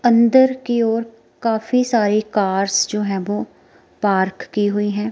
अंदर की ओर काफ़ी सारे कार्स जो है वो पार्क की हुई है।